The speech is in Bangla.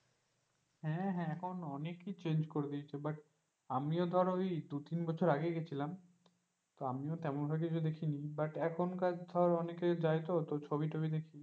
হ্যাঁ হ্যাঁ এখন অনেক কিছু change করে দিয়েছে but আমিও ধর ওই দুই তিন বছর আগেই গিয়েছিলাম আমিও তেমন ভাবে কিছু দেখিনি but এখনকার ধরার অনেকেই দায়িত্ব ছবিটা দেখি।